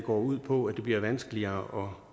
går ud på at det bliver vanskeligere